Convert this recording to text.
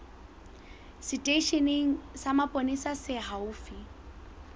seteisheneng sa mapolesa se haufi